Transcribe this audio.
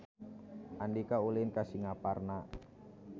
Andika ulin ka Singaparna